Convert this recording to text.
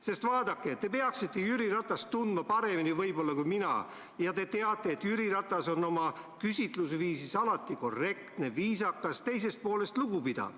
Sest vaadake, te peaksite Jüri Ratast tundma võib-olla paremini kui mina ja te teate, et Jüri Ratas on oma küsitlusviisis alati korrektne, viisakas, teisest poolest lugupidav.